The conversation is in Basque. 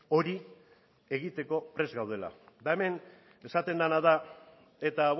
hori egiteko prest gaudela eta hemen esaten dena da eta